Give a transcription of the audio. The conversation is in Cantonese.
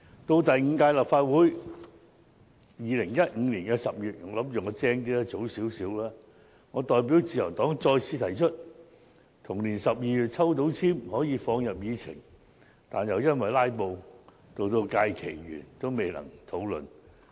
到第五屆立法會的2015年10月，我代表自由黨早一點再次提出議案，還以為自己很聰明，結果同年12月抽到籤可以放入議程，但又因為"拉布"，到該屆會期完結也未能討論議案。